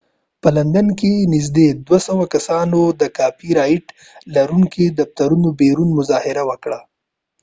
په لندن کې نږدې 200 کسانو د کاپی رایټ لرونکو د دفترونو بیرون مظاهره وکړه